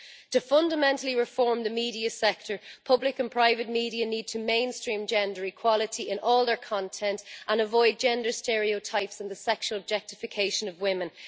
To fundamentally reform the media sector, public and private media need to mainstream gender equality in all their content and avoid gender stereotypes and the sexual objectification of women.